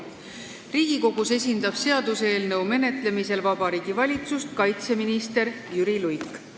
Riigikogus esindab seaduseelnõu menetlemisel Vabariigi Valitsust kaitseminister Jüri Luik.